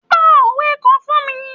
Pa òwe kan fún mi.